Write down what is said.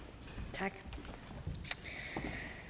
tak så